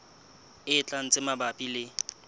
e tlang tse mabapi le